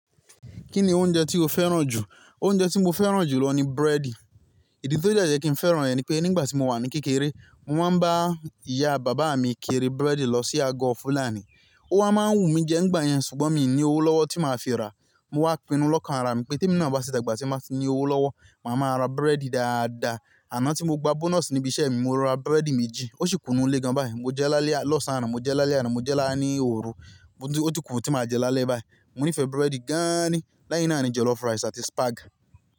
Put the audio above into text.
Kí ni oúnjẹ tí o fẹ́ràn jù? Oúnjẹ tí mo fẹ́ràn jù lọ ni búrẹ́dì. Ìdí tí ó dẹ́ jẹ́ kí n fẹ́ràn rẹ̀ ni pé nígbà tí mo wà ní kékeré, mo máa ń bá ìyá bàbá mi kiri búrẹ́dì lọ sí àgọ́ fúlàní. Ó wá máa ń wù mí jẹ nígbà yẹn ṣùgbọ́n mi ò ní owó lọ́wọ́ tí màá fi rà. Mo wá pinnu lọ́kàn ara mi pé tí èmi náà bá ti èmi ná bá ti dàgbà tí bà ni owó lọ́wọ́, màá ma ra búrẹ́dì dáadáa. Àná tí mo gba bónọ̀sì níbi iṣẹ́ mi, mo ra búrẹ́dì méjì. Ó ṣì kù nu ilé gan báyi. Mo jẹ lálẹ́ lọ́sàn-án àná, mo jẹ lálẹ́ àná, mo jẹ láá ní òru. Ó ti kù tí màá jẹ lálẹ́ báyìí. Mo nífẹ̀ẹ́ búrẹ́dì gáàn ní. Lẹ́yìn náà ní jollof rice àti spag.